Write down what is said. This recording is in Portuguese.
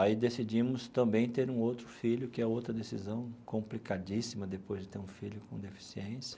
Aí decidimos também ter um outro filho, que é outra decisão complicadíssima depois de ter um filho com deficiência.